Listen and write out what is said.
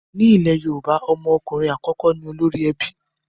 Ní ilẹ̀ Yorùbá, ọmọ okunrin àkọ́kọ́ ni olórí ebi